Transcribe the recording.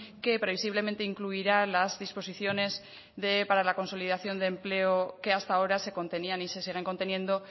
que previsiblemente incluirá las disposiciones para la consolidación de empleo que hasta ahora se contenían y se siguen conteniendo